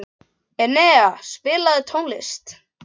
Enea, spilaðu tónlist.